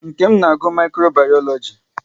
Nkem na-agụ Mikro bayoloji